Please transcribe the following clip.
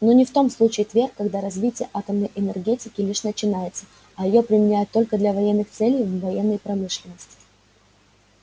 но не в том случае твер когда развитие атомной энергетики лишь начинается а её применяют только для военных целей в военной промышленности